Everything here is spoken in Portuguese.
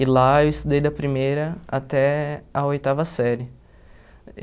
E lá eu estudei da primeira até a oitava série.